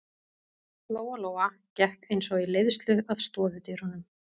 Lóa-Lóa gekk eins og í leiðslu að stofudyrunum.